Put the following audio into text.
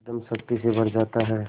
एकदम शक्ति से भर जाता है